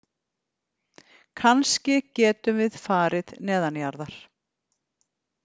Kannski getum við farið neðanjarðar